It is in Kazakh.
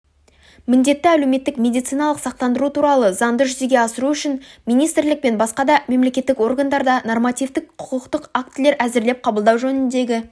міндетті әлеуметтік медициналық сақтандыру туралы заңды жүзеге асыру үшін министрлік пен басқа да мемлекеттік органдарда нормативтік құқықтық актілер әзірлеп қабылдау жөніндегі